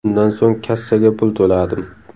Undan so‘ng kassaga pul to‘ladim.